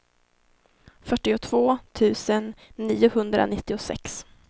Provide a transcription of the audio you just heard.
fyrtiotvå tusen niohundranittiosex